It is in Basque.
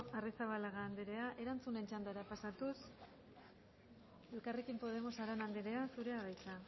arrizabalaga andrea erantzunen txandara pasatuz elkarrekin podemos arana andrea zurea da hitza